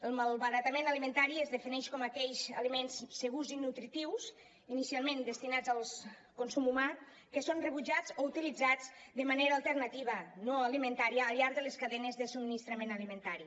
el malbaratament alimentari es defineix com aquells aliments segurs i nutritius inicialment destinats al consum humà que són rebutjats o utilitzats de manera alternativa no alimentària al llarg de les cadenes de subministrament alimentari